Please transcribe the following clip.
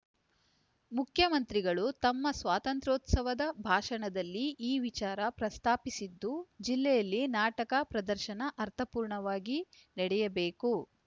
ಮುಖ್ಯಮಂತ್ರಿಗಳು ತಮ್ಮ ಸ್ವಾತಂತ್ರ್ಯೋತ್ಸವದ ಭಾಷಣದಲ್ಲಿ ಈ ವಿಚಾರ ಪ್ರಸ್ತಾಪಿಸಿದ್ದು ಜಿಲ್ಲೆಯಲ್ಲಿ ನಾಟಕ ಪ್ರದರ್ಶನ ಅರ್ಥಪೂರ್ಣವಾಗಿ ನಡೆಯಬೇಕು